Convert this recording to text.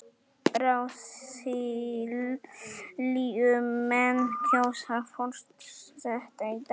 Brasilíumenn kjósa forseta í dag